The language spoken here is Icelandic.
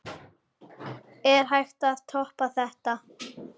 Er hægt að toppa þetta?